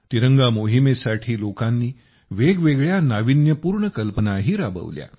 तिरंगा मोहिमेसाठी लोकांनी वेगवेगळ्या नाविन्यपूर्ण कल्पनाही राबवल्या